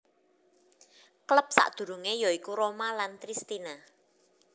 Klub sakdurunge ya iku Roma lan Triestina